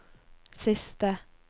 siste